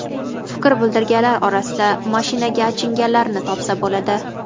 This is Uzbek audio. Fikr bildirganlar orasida mashinaga achinganlarni topsa bo‘ladi.